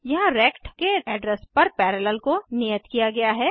यहाँ रेक्ट के एड्रेस पर पैरेलल को नियत किया गया है